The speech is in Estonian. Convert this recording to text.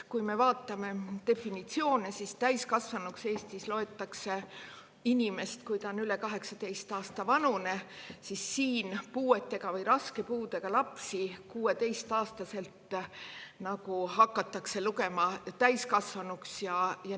Kui me vaatame definitsioone, siis täiskasvanuks loetakse Eestis inimest, kui ta on üle 18 aasta vanune, aga puuetega või raske puudega lapsi hakatakse lugema täiskasvanuks 16-aastaselt.